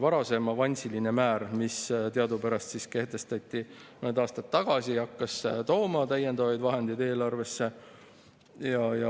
Varasem avansiline määr, mis teadupärast kehtestati mõned aastad tagasi, hakkas tooma täiendavaid vahendeid eelarvesse.